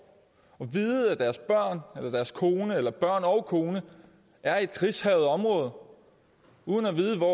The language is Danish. og vide at deres børn eller deres kone eller deres børn og kone er i et krigshærget område uden at vide hvor